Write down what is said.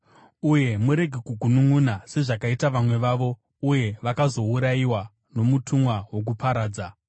Uye murege kugununʼuna sezvakaita vamwe vavo, uye vakazourayiwa nomutumwa wokuparadza.